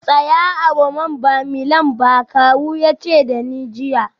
Tsaya a Roma ba Milan ba kawu ya ce da ni jiya